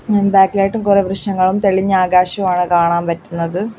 അതിന് ബാക്കിലായിട്ടും കുറേ വൃക്ഷങ്ങളും തെളിഞ്ഞ ആകാശവുമാണ് കാണാൻ പറ്റുന്നത്.